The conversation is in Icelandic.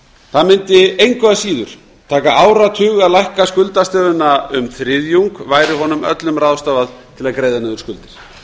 það mundi engu að síður taka áratug að lækka skuldastöðuna um þriðjung væri honum öllum ráðstafað til að greiða niður skuldir